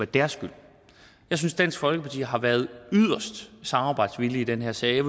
deres skyld jeg synes dansk folkeparti har været yderst samarbejdsvillige i den her sag der